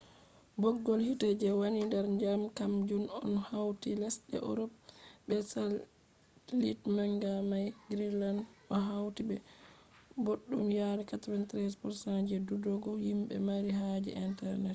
bggol hite je wani der dyam kam jun on hauti lesde europe be satellite manga mai. greenland o hauti be bobbdum yari 93% je dudugo himbe mari haje internet